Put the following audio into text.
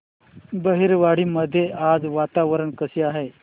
बहिरवाडी मध्ये आज वातावरण कसे आहे